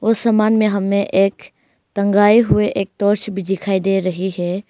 समान में हमें एक टंगाई हुए एक टॉर्च भी दिखाई दे रही है।